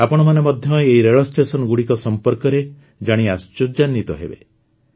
ଆପଣମାନେ ମଧ୍ୟ ଏହି ରେଳ ଷ୍ଟେସନଗୁଡ଼ିକ ସମ୍ପର୍କରେ ଜାଣି ଆଶ୍ଚର୍ଯ୍ୟାନ୍ୱିତ ହେବେ